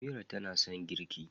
Amira tana son girƙi